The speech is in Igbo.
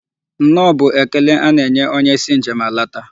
Nnọọ bụ ekele a na-enye onye si njem alata.